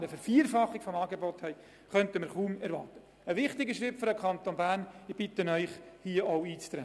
Bei der Ferienbetreuung handelt es sich um einen wichtigen Schritt für den Kanton Bern, und ich bitte Sie, auf das Geschäft einzutreten.